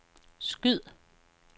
skyd